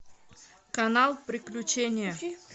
канал приключения